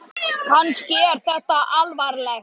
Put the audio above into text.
Kannski er þetta alvanalegt.